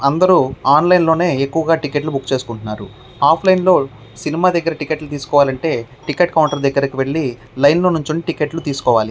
అందరు ఆన్లైన్ లోనే ఎక్కువగా టికెట్స్ బుక్ చేసుకుంటున్నారు. ఆఫ్ లైన్ లో సినిమా దగ్గర టికెట్ కౌంటర్ కి వెళ్లి లైన్ లో నించుని టిక్కెట్లు తీసుకోవాలి.